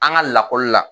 An ka lakɔli la